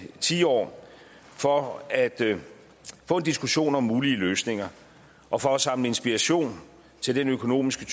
tiår for at få en diskussion om mulige løsninger og for at samle inspiration til den økonomiske